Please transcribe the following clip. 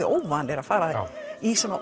óvanir að fara í svona